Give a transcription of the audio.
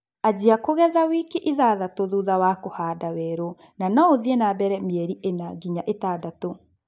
Anjia kũgetha wiki ithathatũ thutha wa kũhanda werũ na no ũthie na mbele mĩeli ĩna nginya ĩtandatũ